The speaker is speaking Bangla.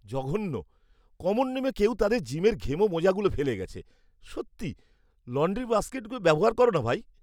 জঘন্য! কমন রুমে কেউ তাদের জিমের ঘেমো মোজাগুলো ফেলে গেছে। সত্যি, লণ্ড্রী বাস্কেট ব্যবহার করো না ভাই!